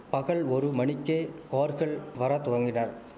பகல் ஒரு மணிக்கே கார்கள் வர துவங்கினர்